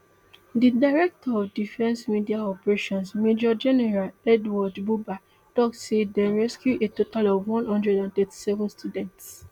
di director of defence media operations major general edward buba tok say dem rescue a total of one hundred and thirty-seven students